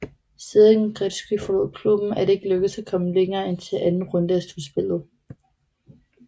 Siden Gretzky forlod klubben er det ikke lykkedes at komme længere end til anden runde af slutspillet